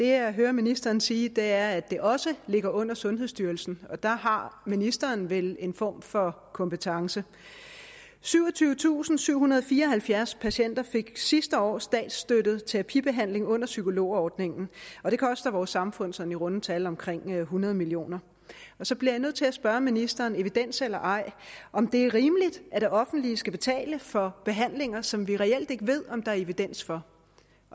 jeg hører ministeren sige er at det også ligger under sundhedsstyrelsen og der har ministeren vel en form for kompetence syvogtyvetusinde og syvhundrede og fireoghalvfjerds patienter fik sidste år statsstøttet terapibehandling under psykologordningen og det koster vores samfund sådan i runde tal omkring hundrede million kr og så bliver jeg nødt til at spørge ministeren evidens eller ej om det er rimeligt at det offentlige skal betale for behandlinger som vi reelt ikke ved om der er evidens for